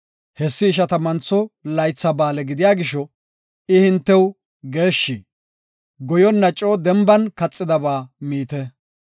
Hessi Ishatammantho Laytha Ba7aale gidiya gisho I hintew geeshshi; goyonna coo denban kaxidaba miite.